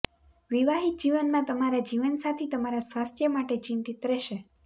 વિવાહિત જીવનમાં તમારા જીવનસાથી તમારા સ્વાસ્થ્ય માટે ચિંતિત રહેશે